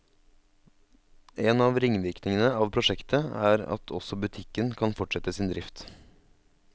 En av ringvirkning av prosjektet er også at butikken kan fortsette sin drift.